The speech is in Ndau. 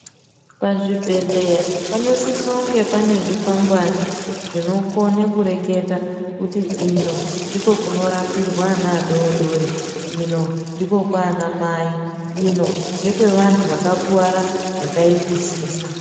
Pazvibhehleya panosise kunge pane zvikwangwani zvinokone kureketa kuti ino ndiko kunorapirwe ana adodori ino ndiko kwana mai ino ngekwe vantu vakakuwarisisa.